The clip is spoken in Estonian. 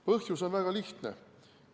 Põhjus on väga lihtne.